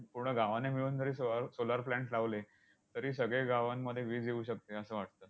पूर्ण गावाने मिळून जरी सो solar plants लावले, तरी सगळ्या गावांमध्ये वीज येऊ शकते, असं वाटतं.